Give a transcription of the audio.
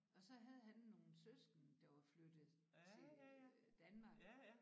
Og så havde han nogle søskende der var flyttet til øh Danmark